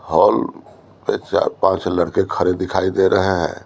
Hall पे चार पांच लड़के खड़े दिखाई दे रहे हैं।